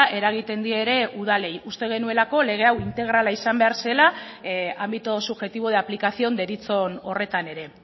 eragiten die ere udalei uste genuelako lege hau integrala izan behar zela ámbito subjetivo de aplicación deritzon horretan ere